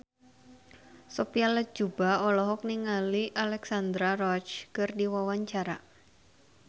Sophia Latjuba olohok ningali Alexandra Roach keur diwawancara